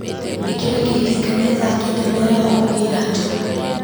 ĩkĩra kĩririkania thaa kenda mĩaraho kũgĩra jo